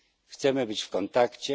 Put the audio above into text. Chcemy być w kontakcie.